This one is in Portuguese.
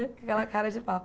Com aquela cara de pau.